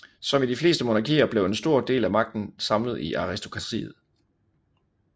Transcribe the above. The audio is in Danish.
Som i de fleste monarkier blev en stor del af magten samlet i aristokratiet